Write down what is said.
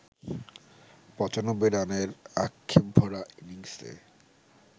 ৯৫ রানের আক্ষেপভরা ইনিংসে